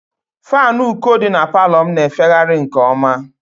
Faanụ uko dị na palọ m na-efegharị nke ọma